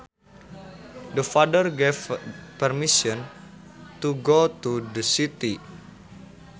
The father gave permission to go to the city